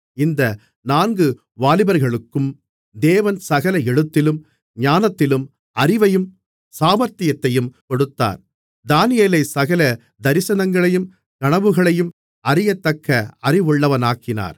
இந்த நான்கு வாலிபர்களுக்கும் தேவன் சகல எழுத்திலும் ஞானத்திலும் அறிவையும் சாமர்த்தியத்தையும் கொடுத்தார் தானியேலைச் சகல தரிசனங்களையும் கனவுகளையும் அறியத்தக்க அறிவுள்ளவனாக்கினார்